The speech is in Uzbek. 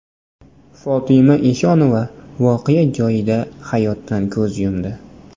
Fotima Eshonova voqea joyida hayotdan ko‘z yumdi.